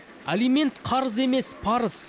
алимент қарыз емес парыз